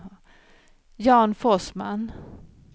Jan Forsman